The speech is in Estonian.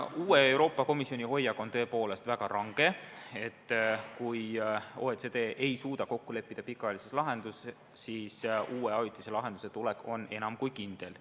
Uue Euroopa Komisjoni hoiak on tõepoolest väga range: kui OECD ei suuda kokku leppida pikaajalises lahenduses, siis uue ajutise lahenduse tulek on enam kui kindel.